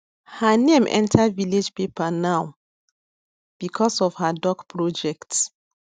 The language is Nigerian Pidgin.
her name enter village paper now because of her duck project